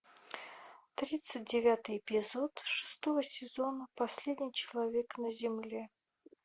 тридцать девятый эпизод шестого сезона последний человек на земле